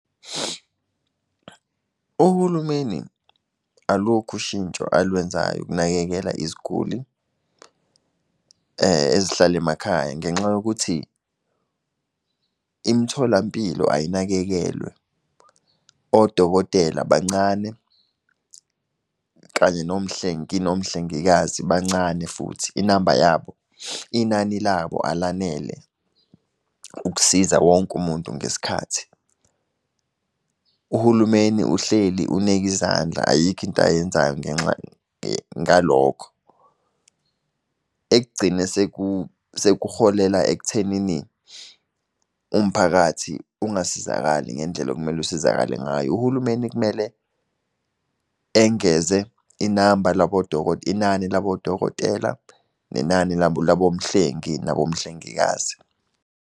Uhulumeni, alukho ushintsho alwenzayo ukunakekela iziguli ezihlala emakhaya ngenxa yokuthi imitholampilo ayinakekelwe. Odokotela bancane, kanye nomhlengi, nomhlengikazi bancane futhi, inamba yabo, inani labo alanele ukusiza wonke umuntu ngesikhathi. Uhulumeni uhleli uneke izandla, ayikho into ayenzayo, ngalokho. Ekugcina sekuholela ekuthenini umphakathi ungasizakali ngendlela okumele usizakale ngayo. Uhulumeni kumele engeze inamba labo , inani labo dokotela, nenani labo mhlengi nabo mhlengikazi.